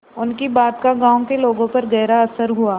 उनकी बात का गांव के लोगों पर गहरा असर हुआ